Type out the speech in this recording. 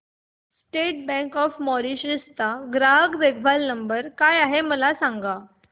state bank of Mauritius चा ग्राहक देखभाल नंबर काय आहे मला सांगा